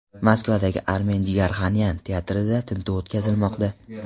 Moskvadagi Armen Jigarxanyan teatrida tintuv o‘tkazilmoqda.